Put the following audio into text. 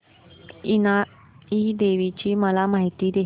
इनाई देवीची मला माहिती दे